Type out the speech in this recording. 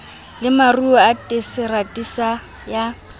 le maruo a terasete ya